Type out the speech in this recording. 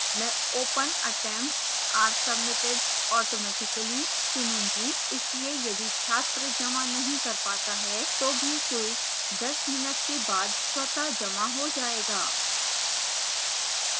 मैं open attempts are submitted automatically चुनूँगी इसलिए यदि छात्र जमा नहीं कर पाता है तो भी quiz 10 mins के बाद स्वतः जमा हो जाएगा